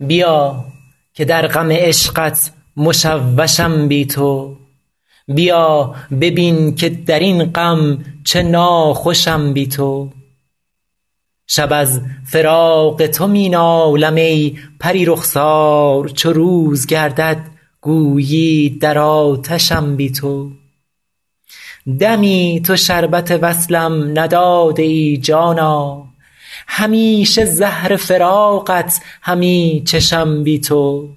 بیا که در غم عشقت مشوشم بی تو بیا ببین که در این غم چه ناخوشم بی تو شب از فراق تو می نالم ای پری رخسار چو روز گردد گویی در آتشم بی تو دمی تو شربت وصلم نداده ای جانا همیشه زهر فراقت همی چشم بی تو